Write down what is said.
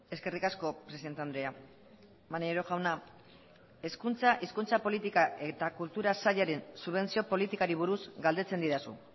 eskerrik asko presidente andrea maneiro jauna hezkuntza hizkuntza politika eta kultura sailaren subentzio politikari buruz galdetzen didazu